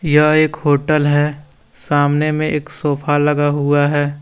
यह एक होटल है सामने में एक सोफा लगा हुआ है।